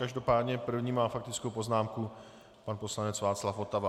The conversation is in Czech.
Každopádně první má faktickou poznámku pan poslanec Václav Votava.